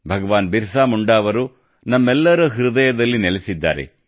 ಭಗವಾನ್ ಬಿರ್ಸಾ ಮುಂಡಾ ಅವರು ನಮ್ಮೆಲ್ಲರ ಹೃದಯದಲ್ಲಿ ನೆಲೆಸಿದ್ದಾರೆ